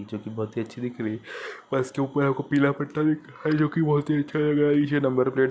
जो की बहुत ही अच्छी दिख रही है बस के ऊपर पीला पट्टल दिख रहा है।